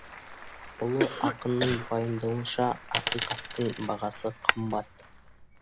ұлы ақынның пайымдауынша ақиқаттың бағасы қымбат